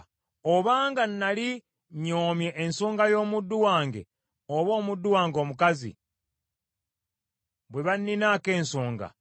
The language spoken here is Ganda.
“Obanga nnali nnyoomye ensonga y’omuddu wange oba omuddu wange omukazi, bwe banninaako ensonga,